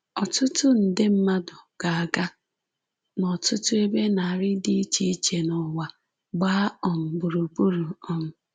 ỌTỤTỤ NDE MMADỤ GA-AGA n’ọtụtụ ebe narị dị iche iche n'ụwa gbaa um gburugburu. um